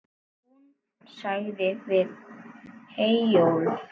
Hún sagði við Eyjólf